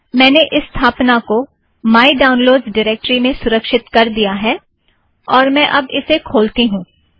मैंने इस स्थापना को माय डाउनलोड़्स ड़िरेक्टरी में सुरक्षित कर दिया है और मैं अब इसे खोलती हूँ